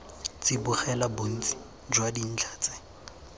tsibogela bontsi jwa dintlha tse